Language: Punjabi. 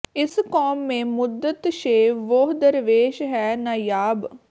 ਇਸ ਕੌਮ ਮੇਂ ਮੁੱਦਤ ਸੇ ਵੋਹ ਦਰਵੇਸ਼ ਹੈ ਨਾਯਾਬ